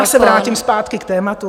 Já se vrátím zpátky k tématu.